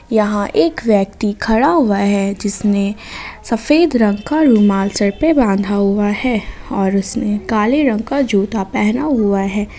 यहां एक व्यक्ति खड़ा हुआ है जिसने सफेद रंग का रुमाल सर पे बाधा हुआ है और उसने काले रंग का जूता पहना हुआ है।